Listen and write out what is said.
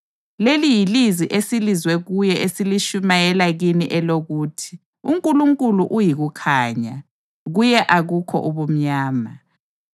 Leli yilizwi esilizwe kuye esilitshumayela kini elokuthi: UNkulunkulu uyikukhanya; kuye akukho ubumnyama.